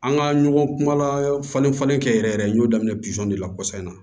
An ka ɲɔgɔn kumala falen falen kɛ yɛrɛ yɛrɛ n y'o daminɛ pizɔn de la kɔsan in na